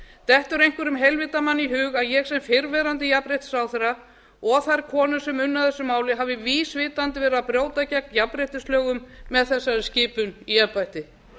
dettur einhverjum heilvita manni í hug að ég sem fyrrverandi jafnréttisráðherra og þær konur sem unnu að þessu máli hafi vísvitandi brotið gegn jafnréttislögum með þessari skipun í embætti